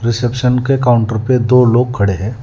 Reception के counter पे दो लोग खड़े हैं।